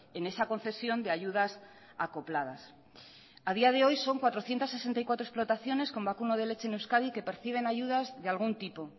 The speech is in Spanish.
en esa concesión de ayudas acopladas a día de hoy son cuatrocientos sesenta y cuatro explotaciones con vacuno de leche en euskadi que perciben ayudas de algún tipo